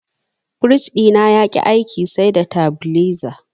Firij ɗina yaƙi aiki sai da tabileza.